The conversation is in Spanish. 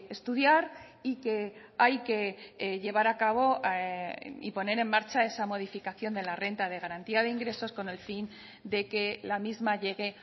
estudiar y que hay que llevar a cabo y poner en marcha esa modificación de la renta de garantía de ingresos con el fin de que la misma llegue